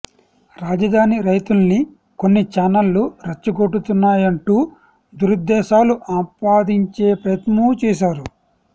రాజధాని రైతుల్ని కొన్ని ఛానళ్లు రెచ్చగొడుతున్నాయంటూ దురుద్దేశాలు ఆపాదించే ప్రయత్నమూ చేశారు